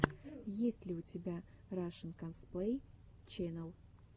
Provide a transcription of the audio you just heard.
есть ли у тебя рашэн косплей ченел